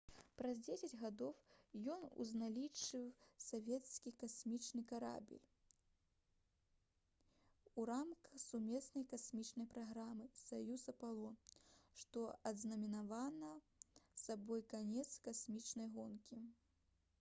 праз дзесяць гадоў ён узначаліў савецкі касмічны карабель у рамках сумеснай касмічнай праграмы «саюз-апалон» што азнаменавала сабой канец касмічнай гонкі